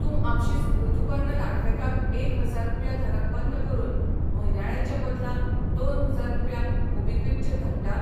तूं आपशींच ऋतुपर्ण लाडफेकाक एक हजार रुपया धाडप बंद करून म्हयन्याळें चे बदला दोन हजार रुपया मोबीक्विक चेर धाडटा?